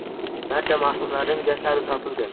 Barcha marhumlarning jasadi topilgan.